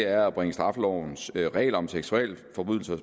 er at bringe straffelovens regler om seksualforbrydelser